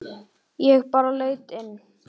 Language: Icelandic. Ég bara leit inn.